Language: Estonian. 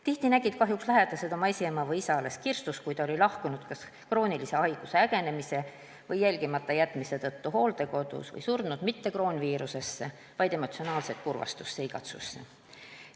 Tihti nägid lähedased oma esiema või -isa kahjuks alles kirstus, kui ta oli lahkunud kas kroonilise haiguse ägenemise või jälgimata jätmise tõttu hooldekodus või surnud mitte kroonviirusesse, vaid emotsionaalsesse kurvastusse, igatsusse.